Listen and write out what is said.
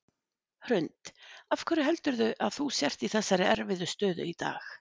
Hrund: Af hverju heldurðu að þú sért í þessari erfiðu stöðu í dag?